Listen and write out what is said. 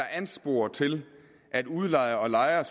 ansporer til at udlejer og lejer